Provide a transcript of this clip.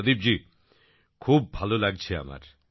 প্রদীপ জি খুব ভালো লাগছে আমার